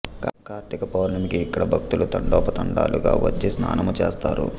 కార్తీక పౌర్ణమికి ఇక్కడికి భక్తులు తండొపతండాలుగా వచ్చి స్నానము చేస్తారు